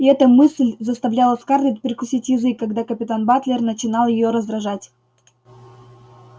и эта мысль заставляла скарлетт прикусить язык когда капитан батлер начинал её раздражать